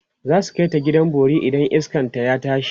zasu kaita gidan bori idan iskan ta ya tashi